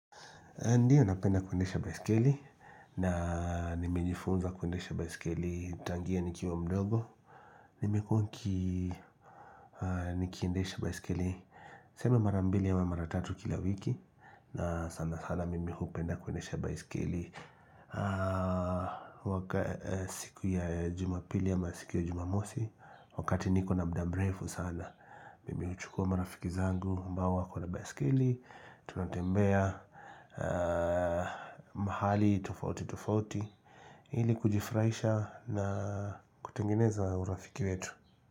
Ndio napenda kuendesha baisikeli na nimejifunza kuendesha baisikeli tangia nikiwa mdogo Nimekuwa nikiendesha baisikeli sema mara mbili ama mara tatu kila wiki na sanasana mimi hupenda kuendesha baisikeli waka siku ya jumapili ama siku ya jumamosi Wakati niko na muda mrefu sana mimi huchukuwa marafiki zangu ambao wako na baisikeli Tunatembea mahali tofauti tofauti ili kujifurahisha na kutengeneza urafiki wetu.